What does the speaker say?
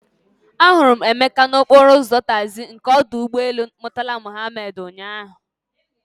Ahụrụ m Emeka n'okporo ụzọ taxi nke ọdụ ụgbọ elu Murtala Mohammed ụnyahụ.